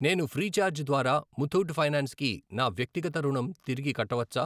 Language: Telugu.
నేను ఫ్రీచార్జ్ ద్వారా ముతూట్ ఫైనాన్స్ కి నా వ్యక్తిగత రుణం తిరిగి కట్టవచ్చా?